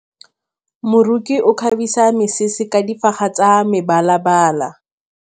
Moroki o kgabisa mesese ka difaga tsa mebalabala.